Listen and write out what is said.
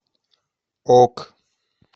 ок